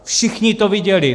Všichni to viděli.